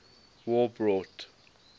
war brought